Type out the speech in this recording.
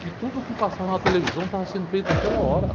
Que tudo o que passava na televisão estava sendo feito naquela hora.